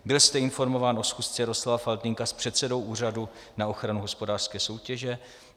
Byl jste informován o schůze Jaroslava Faltýnka s předsedou Úřadu na ochranu hospodářské soutěže?